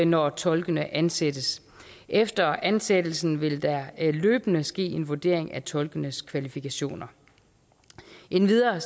når tolkene ansættes efter ansættelsen vil der løbende ske en vurdering af tolkenes kvalifikationer endvidere